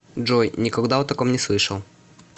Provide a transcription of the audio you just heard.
джой никогда о таком не слышал